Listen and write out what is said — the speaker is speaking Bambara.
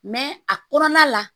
a kɔnɔna la